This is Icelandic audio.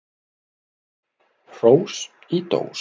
Hrós í dós.